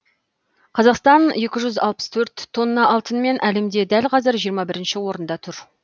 қазақстан екі жүз алпыс төрт тонна алтынымен әлемде дәл қазір жиырма бірінші орында тұр